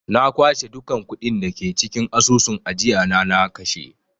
Na kwashe dukkan kuɗin da ke cikin asusun ajiyana na kashe.